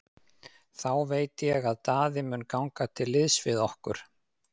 Þá veit ég að Daði mun ganga til liðs við okkur.